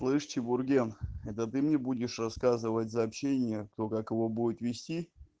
слышь чебурген это ты мне будешь рассказывать сообщение кто как его будет вести